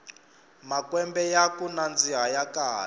makwembe yaku nandzika ya kala